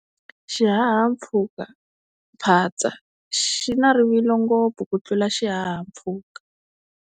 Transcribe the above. Xihahampfhukaphatsa xi na rivilo ngopfu ku tlula xihahampfhuka.